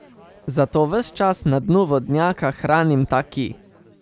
Zato ves čas na dnu vodnjaka hranim ta kij.